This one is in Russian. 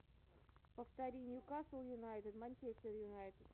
повтори ньюкасл юнайтед манчестер юнайтед